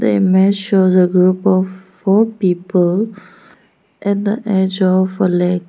The image shows a group of four people at the edge of a lake.